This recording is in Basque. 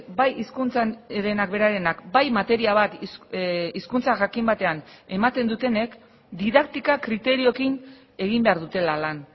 bai hizkuntzarenak berarenak bai materia bat hizkuntza jakin batean ematen dutenek didaktika kriterioekin egin behar dutela lan